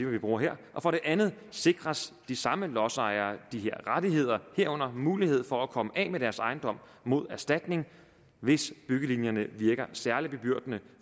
vi bruger her og for det andet sikres de samme lodsejere de her rettigheder herunder mulighed for at komme af med deres ejendom mod erstatning hvis byggelinjen virker særlig bebyrdende